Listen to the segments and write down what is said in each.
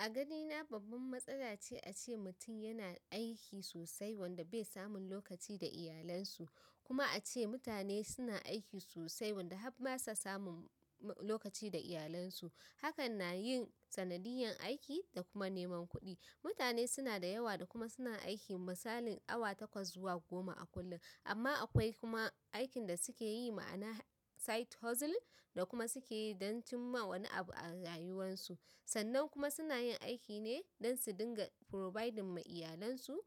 A ganina babban matsala ce a ce mutum yana aiki sosai wanda bai samun lokaci da iyalansu. Kuma a ce mutane suna aiki sosai wanda har ba sa samun lokaci da iyalansu. Hakan na yin sanadiyan aiki da kuma neman kuɗi. Mutane suna da yawa da kuma suna aiki misalin awa takwas zuwa goma a kullum. Amma akwai kuma aikin da suke yi ma'ana side hustle da kuma suke yi don cimma wani abu a rayuwarsu. Sannan kuma suna yin aiki ne don su dinga providing ma iyalansu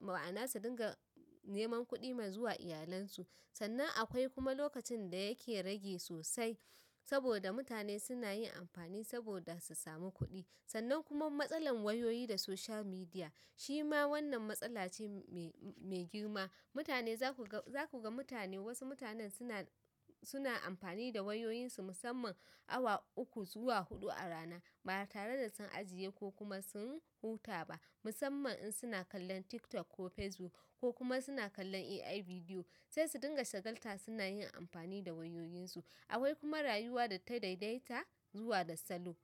ma'ana su dinga neman kuɗi wa iyalansu. Sannan akwai kuma lokacin da yake rage sosai saboda mutane suna yin amfani saboda su samu kuɗi. Sannan kuma matsalar wayoyi da social media, shi ma wannan matsala ce me girma. Mutane za ku ga mutane wasu mutanen suna amfani da wayoyinsu musamman awa uku zuwa huɗu a rana. Ba tare da sun ajiye ko kuma sun huta ba. Musamman in suna kallon TikTok ko Facebook ko kuma suna kallon AI video. Sai su dinga shagalta suna yin amfani da wayoyinsu. Akwai kuma rayuwa da ta daidaita zuwa da salo.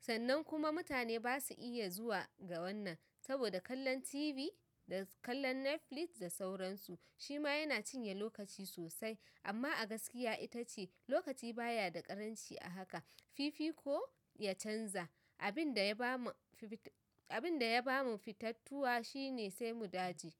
Sannan kuma mutane ba su iya zuwa ga wannan saboda kallon TV da kallon Netflix da sauransu. Shi ma yana cinye lokaci sosai. Amma a gaskiya ita ce lokaci baya da ƙaranci a haka. Fifi ko ya canza, abin da ya ba mu fitattuwa shi ne sai gu daji.